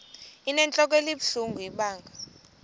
inentlok ebuhlungu ibanga